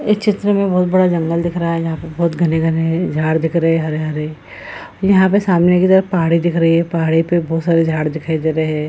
इस चित्र में बहुत बड़ा जंगल दिख रहा है जहाँ पर बहुत घने-घने झाड़ दिख रहे है हरे-हरे यहाँ पर सामने की तरफ पहाड़ी दिख रही है पहाड़ी पर बहुत सारी झाड़ दिखाई दे रहे हैं ।